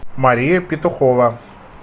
мария петухова